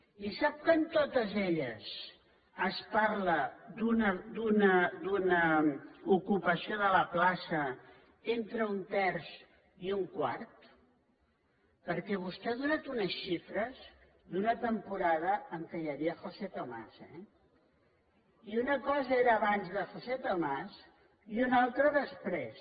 i sap que en totes elles es parla d’una ocupació de la plaça d’entre un terç i un quart perquè vostè ha donat unes xifres d’una temporada en què hi havia josé tomás eh i una cosa era abans de josé tomás i una altra després